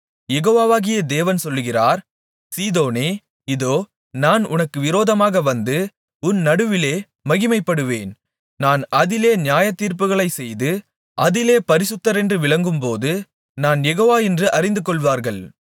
யெகோவாகிய தேவன் சொல்லுகிறார் சீதோனே இதோ நான் உனக்கு விரோதமாக வந்து உன் நடுவிலே மகிமைப்படுவேன் நான் அதிலே நியாயத்தீர்ப்புகளைச் செய்து அதிலே பரிசுத்தரென்று விளங்கும்போது நான் யெகோவா என்று அறிந்துகொள்வார்கள்